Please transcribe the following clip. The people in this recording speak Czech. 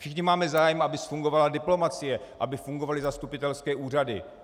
Všichni máme zájem, aby fungovala diplomacie, aby fungovaly zastupitelské úřady.